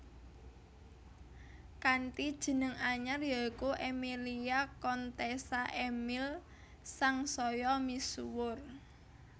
Kanthi jeneng anyar ya iku Emilia Contessa Emil sangsaya misuwur